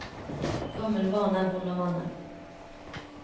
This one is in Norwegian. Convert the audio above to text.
Gammel vane er vond å vende.